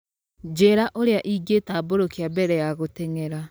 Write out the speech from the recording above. njĩĩra ũrĩa ingĩtambũrũkia mbere ya gũteng'era